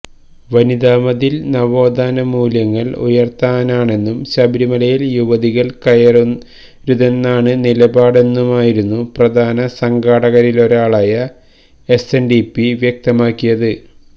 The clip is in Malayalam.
വനിതാമതില് നവോത്ഥാന മൂല്യങ്ങള് ഉയര്ത്താനാണെന്നും ശബരിമലയില് യുവതികള് കയറരുതെന്നാണ് നിലപാടെന്നുമായിരുന്നു പ്രധാന സംഘാടകരിലൊരാളായ എസ്എന്ഡിപി വ്യക്തമാക്കിയത്